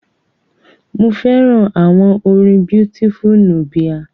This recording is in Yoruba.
Mo fẹ́ràn àwọn orin Beautiful Nubia.